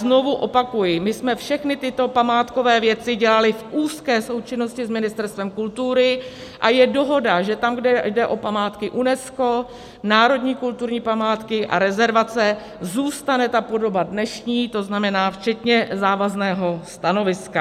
Znovu opakuji, my jsme všechny tyto památkové věci dělali v úzké součinnosti s Ministerstvem kultury a je dohoda, že tam, kde jde o památky UNESCO, národní kulturní památky a rezervace, zůstane ta podoba dnešní, to znamená včetně závazného stanoviska.